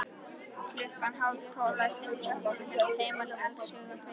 Klukkan hálftólf læsti hún sjoppunni og hélt heimleiðis allshugar fegin.